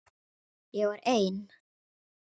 Ég var ein.